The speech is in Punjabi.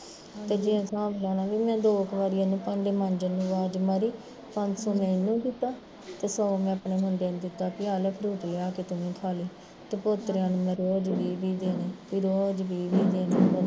ਤੇ ਜੇ ਏਹ ਹਿਸਾਬ ਲਾਲਾ ਤੇ ਦੋ ਕੁ ਵਾਰ ਇਹਨੂੰ ਭਾਂਡੇ ਮਾਝਣ ਨੂੰ ਆਵਾਜ਼ ਮਾਰੀ, ਪੰਜ ਦੋ ਮੈਂ ਇਹਨੂੰ ਦਿੱਤਾ, ਤੇ ਸੋ ਮੈਂ ਅਪਣੇ ਮੁੰਡੇ ਨੂੰ ਦਿੱਤਾ ਵੀ ਆਹ ਲੈ fruit ਲਿਆ ਕੇ ਤੂੰ ਵੀ ਖਾਲੀ ਤੇ ਪੋਤਰਿਆ ਨੂੰ ਮੈਂ ਰੋਜ਼ ਵੀਹ ਵੀਹ ਦੇਣੇ ਵੀ ਰੋਜ਼ ਵੀਹ ਵੀਹ ਦੇਣੇ